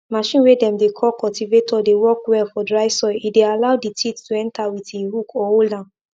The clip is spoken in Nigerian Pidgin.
machine way dem dey call cultivator dey work well for dry soil e dey allow the teeth to enter with e hook or hold am